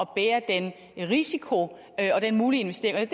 bære den risiko og den mulige investering